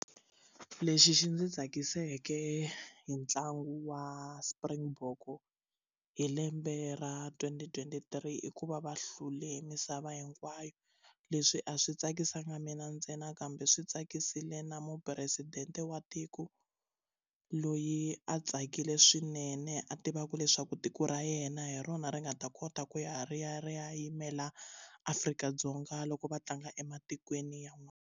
Lexi xi ndzi tsakiseke hi ntlangu wa springbok hi lembe ra twenty twenty three i ku va va hlule misava hinkwayo leswi a swi tsakisanga mina ntsena kambe swi tsaka ku basile na mupresidente wa tiko loyi a tsakile swinene a tivaka leswaku tiko ra yena hi rona ri nga ta kota ku ya ri ya ri ya yimela Afrika-Dzonga loko va tlanga ematikweni yan'wani.